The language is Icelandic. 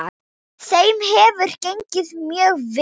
Þeim hefur gengið mjög vel.